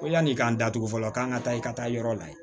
Ko yan'i k'an datugu fɔlɔ k'an ka taa i ka taa yɔrɔ lajɛ